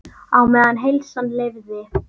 Á meðan heilsan leyfði.